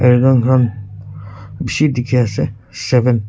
air gun khan bishi dikhiase seven .